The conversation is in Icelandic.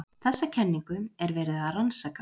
Þessa kenningu er verið að rannsaka.